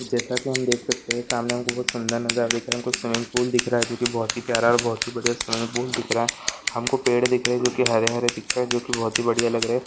जैसा कि हम देख सकते है सामने हमको सुंदर नजारा दिख रहा है हमको स्विमिंग पूल दिख रहा है जो कि बहुत ही प्यारा है और बहुत ही बढ़िया स्विमिंग पूल दिख रहा है हमको पेड़ दिख रहे ही जो कि हरे हरे दिख रहे है जो कि बहुत ही बढ़िया दिख रहे है।